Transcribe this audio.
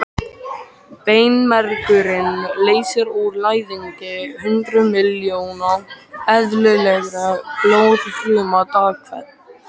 Beinmergurinn leysir úr læðingi hundruð miljóna eðlilegra blóðfruma dag hvern.